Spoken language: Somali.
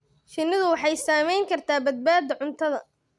Shinnidu waxay saamayn kartaa badbaadada cuntada.